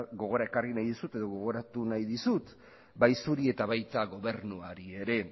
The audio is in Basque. gogora ekarri nahi dizut edo gogoratu nahi dizut bai zuri eta baita gobernuari ere